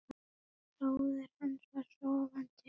Bróðir hans var sofandi í kerrunni hjá Fíu.